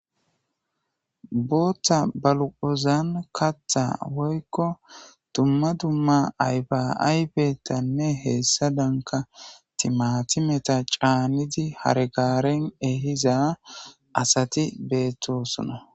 booththa baluqozan katha woykko dumma dumma aybaaybetanne heessa danka timatimeta caanidi hargaaren ehiza asati beettosona